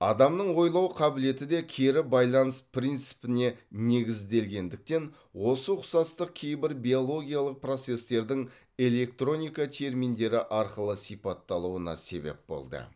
адамның ойлау қабілеті де кері байланыс принципіне негізделгендіктен осы ұқсастық кейбір биологиялық процестердің электроника терминдері арқылы сипатталуына себеп болды